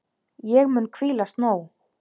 Ég mun hvílast nóg.